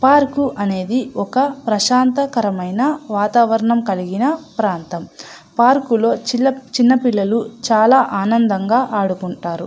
Park అనేది ఒక ప్రసాంతకరమైన వాతావరణం కలిగిన ప్రాంతం పార్క్ లో చిన్న పిల్లలు చాల ఆనందంగా ఆడుకుంటారు .